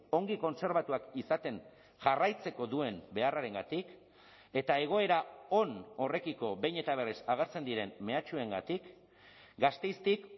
ongi kontserbatuak izaten jarraitzeko duen beharrarengatik eta egoera on horrekiko behin eta berriz agertzen diren mehatxuengatik gasteiztik